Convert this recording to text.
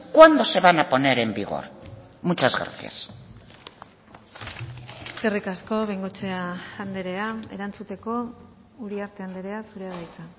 cuándo se van a poner en vigor muchas gracias eskerrik asko bengoechea andrea erantzuteko uriarte andrea zurea da hitza